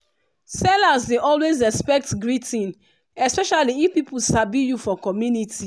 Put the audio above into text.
sellers dey always expect greeting especially if pipu sabi you for community